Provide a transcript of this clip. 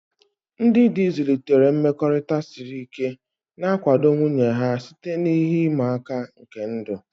Ndị di zụlitere mmekọrịta siri ike, na-akwado nwunye ha site na ihe ịma aka nke ndụ.